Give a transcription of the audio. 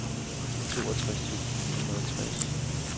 otteogtres tusind ni hundrede og tres